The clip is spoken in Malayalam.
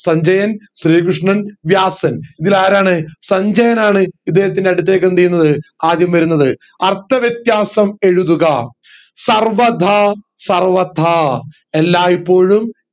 സഞ്ജയൻ ശ്രീ കൃഷ്ണൻ വ്യാസൻ ഇതിൽ ആരാണ് സഞ്ജയനാണ് ഇദ്ദേഹത്തിന്റെ അടുത്തേക്ക് എന്ത് ചെയ്യുന്നത് ആദ്യം വരുന്നത് അർത്ഥവ്യത്യാസം എഴുതുക സർവദാ സർവഥാ എല്ലായ്പ്പോഴും